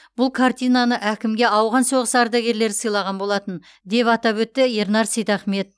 бұл картинаны әкімге ауған соғысы ардагерлері сыйлаған болатын деп атап өтті ернар сейтахмет